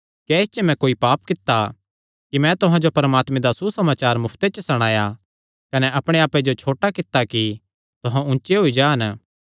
क्या इस च मैं कोई पाप कित्ता कि मैं तुहां जो परमात्मे दा सुसमाचार मुफ्ते च सणाया कने अपणे आप्पे जो छोटा कित्ता कि तुहां ऊचे होई जान